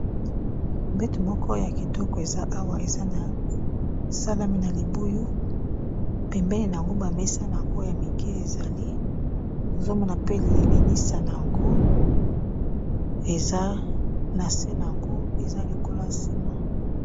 mbeto moko ya kitoko eza awa esalami na libuyu ,pembeni na yango bamesa na yango ya mike ezali tozomona pe ekuke na yango ,eza na se na yango eza lokolo sima.